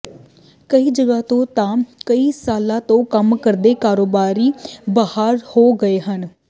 ਕਈ ਜਗ੍ਹਾ ਤੋਂ ਤਾਂ ਕਈ ਸਾਲਾਂ ਤੋਂ ਕੰਮ ਕਰਦੇ ਕਾਰੋਬਾਰੀ ਬਾਹਰ ਹੋ ਗਏ ਹਨ